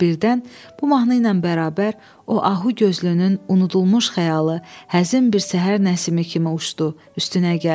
Və birdən bu mahnı ilə bərabər o ahu gözlünün unudulmuş xəyalı, həzin bir səhər nəsimi kimi uçdu üstünə gəldi.